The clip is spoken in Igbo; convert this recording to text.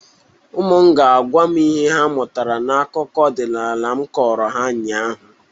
Ụmụ m ga-agwa m ihe ha mụtara n'akụkọ ọdịnala m kọrọ ha ụnyaahụ